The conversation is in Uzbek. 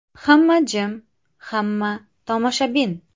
Hamma jim, hamma tomoshabin.